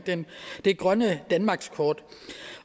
det grønne danmarkskort